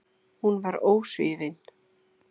Hún var ósvífin.